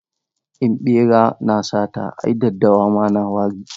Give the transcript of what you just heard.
In ɓera na da sata ai daddawa ma na da wari.